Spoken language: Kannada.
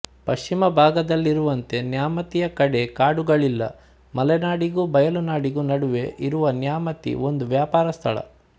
ಪಶ್ಚಿಮಭಾಗದಲ್ಲಿರುವಂತೆ ನ್ಯಾಮತಿಯ ಕಡೆ ಕಾಡುಗಳಿಲ್ಲ ಮಲೆನಾಡಿಗೂ ಬಯಲುನಾಡಿಗೂ ನಡುವೆ ಇರುವ ನ್ಯಾಮತಿ ಒಂದು ವ್ಯಾಪಾರ ಸ್ಥಳ